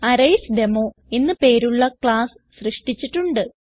അറയ്സ്ഡെമോ എന്ന് പേരുള്ള ക്ലാസ്സ് സൃഷ്ടിച്ചിട്ടുണ്ട്